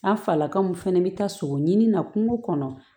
A falaka mun fɛnɛ bɛ taa sogo ɲini na kungo kɔnɔ